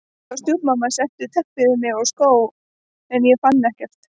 Pabbi og stjúpmamma settu teppi yfir mig og skó en ég fann ekkert.